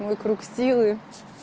мой круг силы